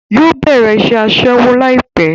Yóò bẹ̀rẹ̀ iṣẹ́ Aṣẹ́wó láìpẹ́